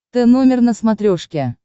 тномер на смотрешке